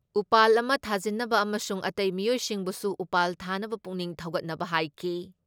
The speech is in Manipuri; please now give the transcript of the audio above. ꯎꯄꯥꯜ ꯑꯃ ꯊꯥꯖꯤꯟꯅꯕ ꯑꯃꯁꯨꯡ ꯑꯇꯩ ꯃꯤꯑꯣꯏꯁꯤꯡꯕꯨꯁꯨ ꯎꯄꯥꯜ ꯊꯥꯅꯕ ꯄꯨꯛꯅꯤꯡ ꯊꯧꯒꯠꯅꯕ ꯍꯥꯏꯈꯤ ꯫